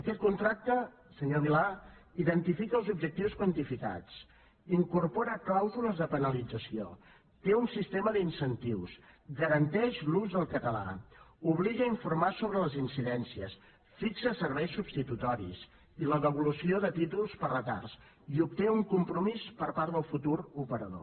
aquest contracte senyor milà identifica els objectius quantificats incorpora clàusules de penalització té un sistema d’incentius garanteix l’ús del català obliga a informar sobre les incidències fixa serveis substitutoris i la devolució de títols per retards i obté un compromís per part del futur operador